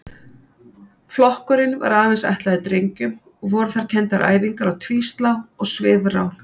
Flokkurinn var aðeins ætlaður drengjum og voru þar kenndar æfingar á tvíslá og svifrá.